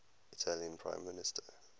italian prime minister